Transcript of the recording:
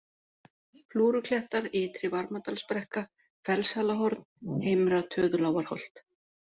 Flúruklettar, Ytri-Varmadalsbrekka, Fellshalahorn, Heimra-Töðulágarholt